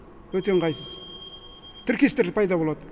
өте ыңғайсыз тіркестер пайда болады